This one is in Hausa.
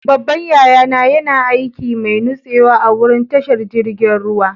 Babban yaya na yana aikin mai nutsewa a'wurin tashar jirigin ruwa.